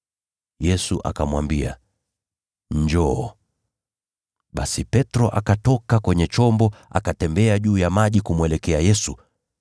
Yesu akamwambia, “Njoo.” Basi Petro akatoka kwenye chombo, akatembea juu ya maji kumwelekea Yesu.